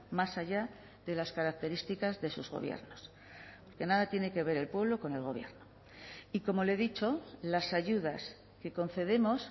más allá de las características de sus gobiernos que nada tiene que ver el pueblo con el gobierno y como le he dicho las ayudas que concedemos